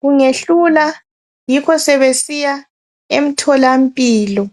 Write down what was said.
Kungehlula, yikho sebesiya emtholampilo.